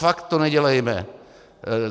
Fakt to nedělejme.